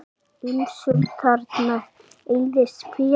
Ýmsum þarna eyðist féð.